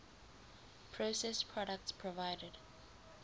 processed products provided